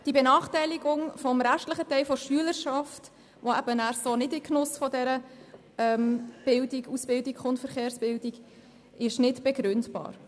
Die Benachteiligung des restlichen Teils der Schülerschaft, die daher nicht in den Genuss der Verkehrsbildung kommt, ist nicht begründbar.